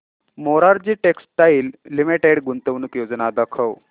Morarji textiles limited गुंतवणूक योजना दाखव